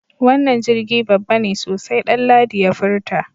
Wannan jirgi babba ne sosai Danladi ya furta.